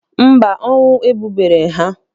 Mba, ọnwụ egbubeghị ha?